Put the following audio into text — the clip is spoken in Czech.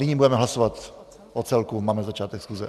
Nyní budeme hlasovat o celku, máme začátek schůze.